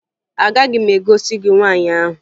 Agaghị m egosi gị nwaanyị ahụ